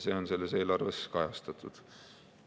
See on selles eelarves kajastatud.